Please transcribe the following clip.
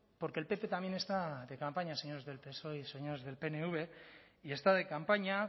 porque el pp también está de campaña señores del psoe y señores del pnv y está de campaña